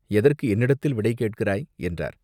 எதற்கு என்னிடத்தில் விடை கேட்கிறாய்?" என்றார்.